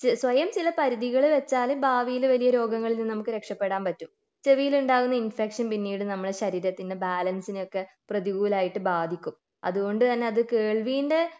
സ്വയം ചില പരിധികൾ വെച്ചാൽ ഭാവിയിൽ വലിയ രോഗങ്ങളിൽ നിന്ന് നമുക്ക് രക്ഷപെടാൻ പറ്റും ചെവിയിൽ ഉണ്ടാകുന്ന ഇൻഫെക്ഷൻ പിന്നീട് നമ്മുടെ ശരീരത്തിൻ്റെ ബാലൻസിനെ ഒക്കെ പ്രതികൂലമായിട്ട് ബാധിക്കും അതുകൊണ്ട് തന്നെ അത് കേൾവിൻ്റെ